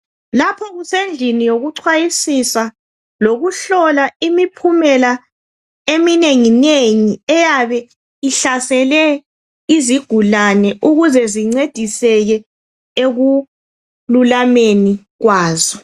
Lapho kusendlini yokuchwayisisa lokuhlola imiphumela eminenginengi eyabe ihlasele izigulane ukuze zincediseke ekululameni kwazo.